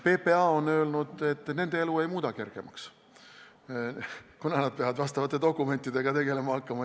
PPA on öelnud, et nende elu see ei muudaks kergemaks, kuna nad peavad vastavate dokumentidega tegelema hakkama.